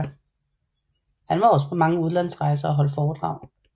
Han var også på mange udlandsrejser og holdt foredrag